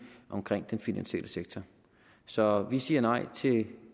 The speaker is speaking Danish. omkring den finansielle sektor så vi siger nej til